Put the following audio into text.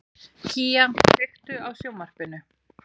Kía, kveiktu á sjónvarpinu.